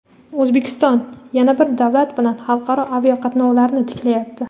O‘zbekiston yana bir davlat bilan xalqaro aviaqatnovlarni tiklayapti.